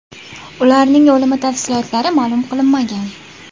Ularning o‘limi tafsilotlari ma’lum qilinmagan.